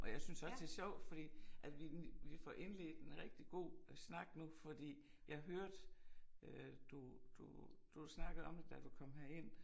Og jeg synes også det er sjov fordi at vi vi får indledt en rigtig god snak nu fordi jeg hørte øh du du du snakkede om det da du kom herind